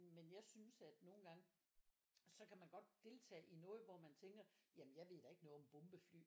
Men jeg synes at nogle gange så kan man godt deltage i noget hvor man tænker jamen jeg ved da ikke noget om bombefly